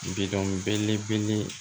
Bidɔn belebele